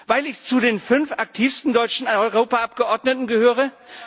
Weil ich zu den fünf aktivsten deutschen Europaabgeordneten gehöre?